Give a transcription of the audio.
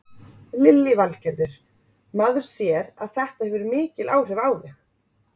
Lillý Valgerður: Maður sér að þetta hefur mikil áhrif á þig?